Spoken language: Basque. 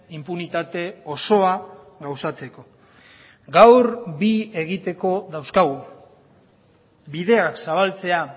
inpunitate osoa gauzatzeko gaur bi egiteko dauzkagu bideak zabaltzea